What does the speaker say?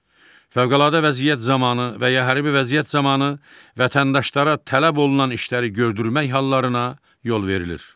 Fövqəladə vəziyyət zamanı və ya hərbi vəziyyət zamanı vətəndaşlara tələb olunan işləri gördürmək hallarına yol verilir.